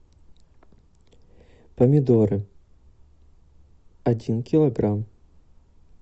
помидоры один килограмм